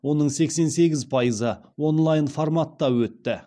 оның сексен сегіз пайызы онлайн форматта өтті